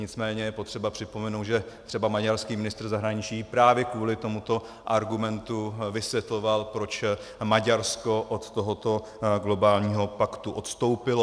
Nicméně je potřeba připomenout, že třeba maďarský ministr zahraničí právě kvůli tomuto argumentu vysvětloval, proč Maďarsko od tohoto globálního paktu odstoupilo.